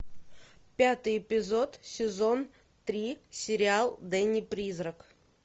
пятый эпизод сезон три сериал дэнни призрак